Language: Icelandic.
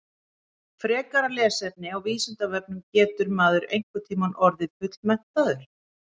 Frekara lesefni á Vísindavefnum Getur maður einhvern tímann orðið fullmenntaður?